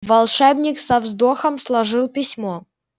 волшебник со вздохом сложил письмо